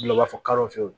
Bila u b'a fɔ kalo fiyewu